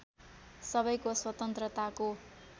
सबैको स्वतन्त्रताको